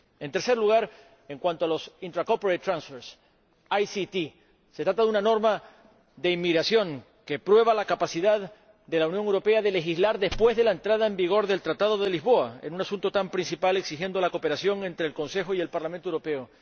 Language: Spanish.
En tercer lugar, en cuanto a los intra corporate tranfers se trata de una norma de inmigración que prueba la capacidad de la Unión Europea de legislar después de la entrada en vigor del Tratado de Lisboa en un asunto tan principal como este, exigiendo la cooperación entre el Consejo y el Parlamento Europeo.